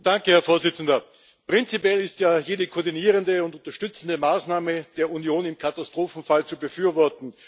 Herr Präsident! Prinzipiell ist ja jede koordinierende und unterstützende Maßnahme der Union im Katastrophenfall zu befürworten.